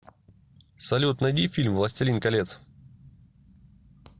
салют найди фильм властелин колец